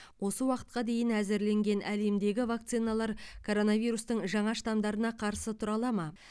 осы уақытқа дейін әзірленген әлемдегі вакциналар коронавирустың жаңа штамдарына қарсы тұра ала ма